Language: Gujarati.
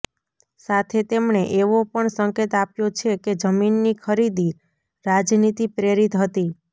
સાથે તેમણે એવો પણ સંકેત આપ્યો છે કે જમીનની ખરીદી રાજનીતિ પ્રેરિત હતી